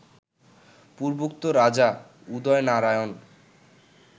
পূর্বোক্ত রাজা উদয়নারায়ণ